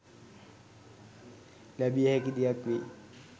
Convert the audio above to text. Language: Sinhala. ලැබිය හැකි දෙයක් වෙයි.